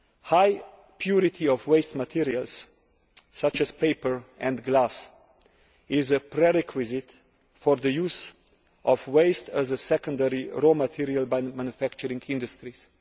High purity of waste materials, such as paper and glass, is a prerequisite for the use of waste as a secondary raw material by manufacturing industries.